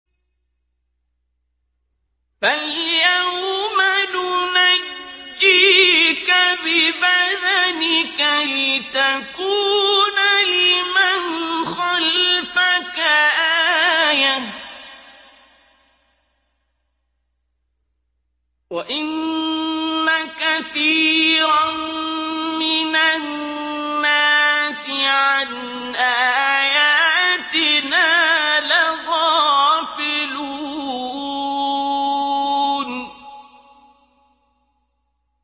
فَالْيَوْمَ نُنَجِّيكَ بِبَدَنِكَ لِتَكُونَ لِمَنْ خَلْفَكَ آيَةً ۚ وَإِنَّ كَثِيرًا مِّنَ النَّاسِ عَنْ آيَاتِنَا لَغَافِلُونَ